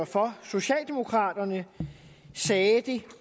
for socialdemokraterne sagde det